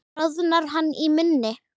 Bráðnar hann í munni?